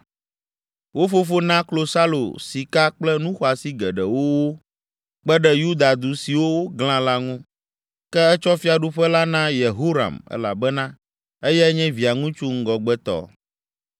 Wo fofo na klosalo, sika kple nu xɔasi geɖewo wo kpe ɖe Yuda du siwo woglã la ŋu, ke etsɔ fiaɖuƒe la na Yehoram elabena eyae nye via ŋusu ŋgɔgbetɔ.